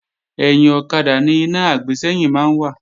Ẹ̀yìn ọ̀kadà ni iná àgbésẹ́yìn máa ń wà